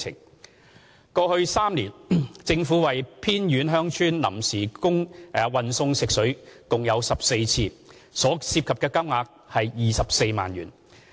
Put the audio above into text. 二過去3年，政府為偏遠鄉村臨時運送食水共14次，所涉及的金額約24萬元。